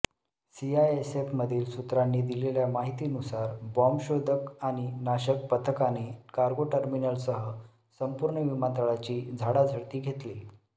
सीआयएसएफमधील सूत्रांनी दिलेल्या माहितीनुसार बॉम्बशोधक आणि नाशक पथकाने कार्गो टर्मिनलसह संपूर्ण विमानतळाची झाडाझडती घेतली